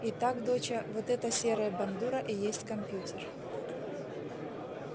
итак доча вот эта серая бандура и есть компьютер